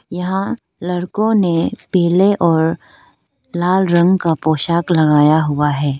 यहां लड़कों ने पीले और लाल रंग का पोशाक लगाया हुआ है।